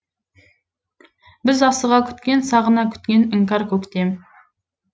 біз асыға күткен сағына күткен іңкәр көктем